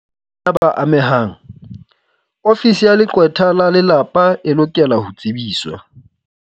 Moo bana ba amehang, Ofisi ya Leqwetha la Lelapa e lokela ho tsebiswa.